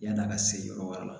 Yan'a ka se yɔrɔ wɛrɛ la